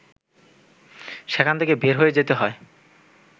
সেখান থেকে বের হয়ে যেতে হয়